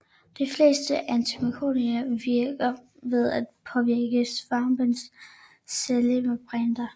De fleste antimykotika virker ved at påvirke svampens cellemembraner